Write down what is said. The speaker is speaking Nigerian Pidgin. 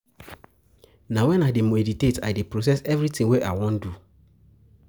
Na wen I dey meditate I dey process everytin wey I wan do.